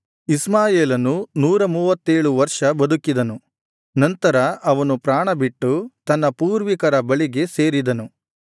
ಇಷ್ಮಾಯೇಲನು ನೂರಮೂವತ್ತೇಳು ವರ್ಷ ಬದುಕಿದನು ನಂತರ ಅವನು ಪ್ರಾಣ ಬಿಟ್ಟು ತನ್ನ ಪೂರ್ವಿಕರ ಬಳಿಗೆ ಸೇರಿದನು